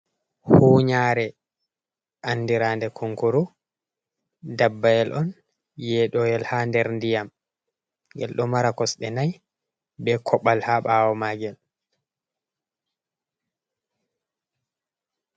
Huunyare andiraande kunkuru. Ndabbayel on yeeɗooyel haa nder ndiyam. Ngel ɗo mara kosɗe nai, be koɓal haa ɓaawo maa ngel.